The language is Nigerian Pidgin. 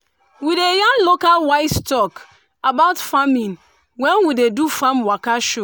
we dey yarn local wise talk about farming when we dey do farm waka show